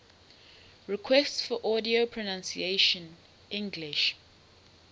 requests for audio pronunciation english